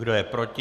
Kdo je proti?